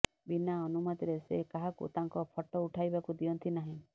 ବିନା ଅନୁମତିରେ ସେ କାହାକୁ ତାଙ୍କ ଫଟୋ ଉଠାଇବାକୁ ଦିଅନ୍ତି ନାହିଁ